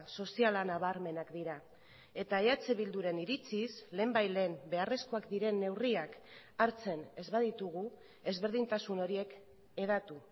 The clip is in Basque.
soziala nabarmenak dira eta eh bilduren iritziz lehenbailehen beharrezkoak diren neurriak hartzen ez baditugu ezberdintasun horiek hedatu